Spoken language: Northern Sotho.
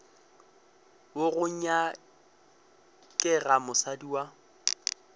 wo go nyakega mosadi wa